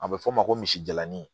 A bɛ f'o ma ko misi jalanin